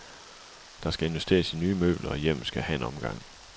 Der skal investeres i nye møbler, og hjemmet skal have en omgang.